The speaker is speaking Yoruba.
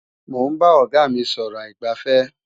Mò ń bá Ọ̀gá mí sọ̀rọ̀ aìgbàfẹ́